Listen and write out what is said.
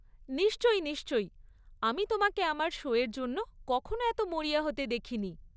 নিশ্চয়ই, নিশ্চয়ই, আমি তোমাকে আমার শো এর জন্য কখনো এত মরিয়া হতে দেখিনি।